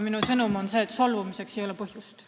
Minu sõnum on see, et solvumiseks ei ole põhjust.